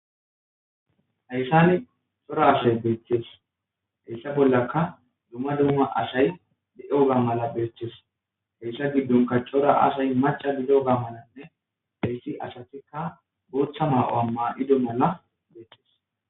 hayssane cora ashay beeththees heyssa bollaka dumma dumma ashay de7o gam mala beeththees heyssa giddonka cora asay macha biloga malanne dheyssi asatikka gootha maa7oa maa7ido mala beeththees